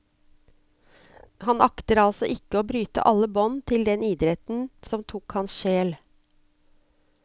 Han akter altså ikke å bryte alle bånd til den idretten som tok hans sjel.